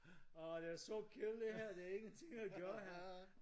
Åh det er så kedeligt her det er ikke der er ingenting at gøre her